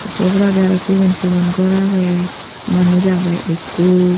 say oboladi aro sigon sigon gor agey manus agey ekko.